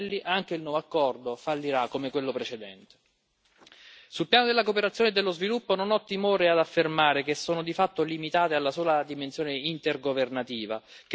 Sul piano della cooperazione e dello sviluppo non ho timore ad affermare che sono di fatto limitate alla sola dimensione intergovernativa, che sfugge al controllo dei parlamenti e della società civile.